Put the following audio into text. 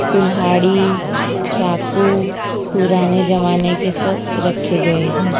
कुल्हाड़ी चाकू पुराने जमाने के सब रखे गए हैं।